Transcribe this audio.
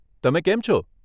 તમે કેમ છો?